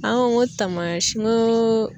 An ka taamasi n ko